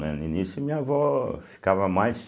No início minha avó ficava mais...